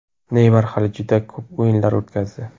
Neymar hali juda ko‘p o‘yinlar o‘tkazdi.